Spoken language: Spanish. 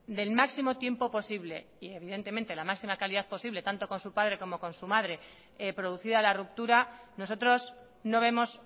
del máximo tiempo posible y evidentemente la máxima calidad posible tanto con su padre como con su madre producida la ruptura nosotros no vemos